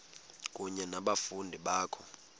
kunye nabafundi bakho